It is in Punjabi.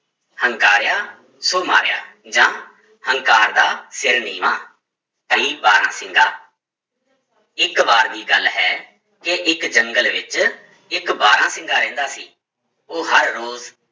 ਹੰਕਾਰਿਆ ਸੋ ਮਾਰਿਆ ਜਾਂ ਹੰਕਾਰ ਦਾ ਸਿਰ ਨੀਵਾਂ ਬਾਰਾਂਸਿੰਗਾ ਇੱਕ ਵਾਰ ਦੀ ਗੱਲ ਹੈ ਕਿ ਇੱਕ ਜੰਗਲ ਵਿੱਚ ਇੱਕ ਬਾਰਾਂਸਿੰਗਾ ਰਹਿੰਦਾ ਸੀ, ਉਹ ਹਰ ਰੋਜ਼